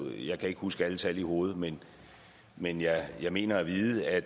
jeg kan ikke huske alle tal i hovedet men men jeg mener at vide at